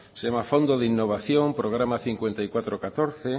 se llama a fondo de innovación programa cincuenta y cuatro barra catorce